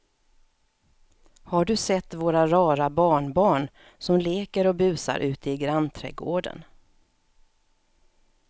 Har du sett våra rara barnbarn som leker och busar ute i grannträdgården!